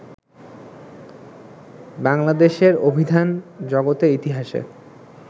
বাংলাদেশের অভিধান জগতের ইতিহাসে